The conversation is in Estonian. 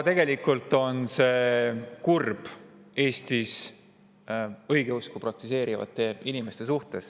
Tegelikult on see kurb Eestis õigeusku praktiseerivate inimeste seisukohalt.